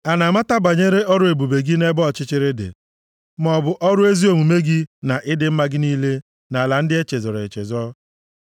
A na-amata banyere ọrụ ebube gị nʼebe ọchịchịrị dị? Ma ọ bụ ọrụ ezi omume gị, na ịdị mma gị niile nʼala ndị e chezọrọ echezọ?